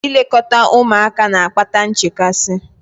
Ilekọta ụmụaka na-akpata nchekasị